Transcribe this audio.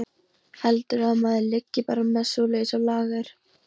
Heldurðu að maður liggi bara með svoleiðis á lager.